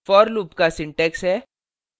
for loop का syntax है